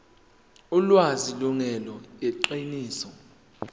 ulwazi lungelona iqiniso